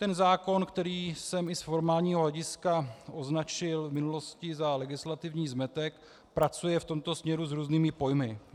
Ten zákon, který jsem i z formálního hlediska označil v minulosti za legislativní zmetek, pracuje v tomto směru s různými pojmy.